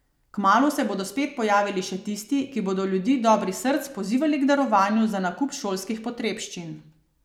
Kmalu se bodo spet pojavili še tisti, ki bodo ljudi dobrih src pozivali k darovanju za nakup šolskih potrebščin.